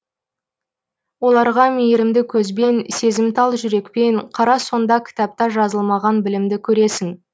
оларға мейірімді көзбен сезімтал жүрекпен қара сонда кітапта жазылмаған білімді көресің